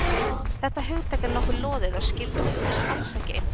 Þetta hugtak er nokkuð loðið og skilgreining þess alls ekki einföld.